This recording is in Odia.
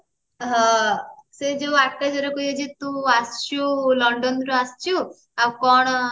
ହଁ ସେ ଯୋଉ ଆକାଶକୁ କହୁଛି ତୁ ଆସିଛୁ ଲଣ୍ଡନ ରୁ ଆସିଛୁ ଆଉ କଣ